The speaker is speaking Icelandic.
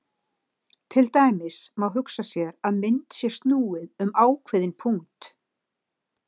Til dæmis má hugsa sér að mynd sé snúið um ákveðinn punkt.